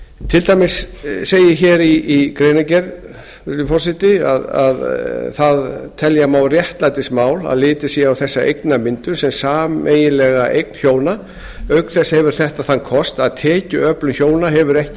til dæmis segir hér í greinargerð virðulegi forseti telja má réttlætismál að litið sé á þessa eignamyndun sem sameiginlega eign hjóna auk þess hefur þetta þann kost að tekjuöflun hjóna hefur ekki